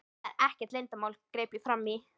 Það er ekkert leyndarmál, greip ég fram í.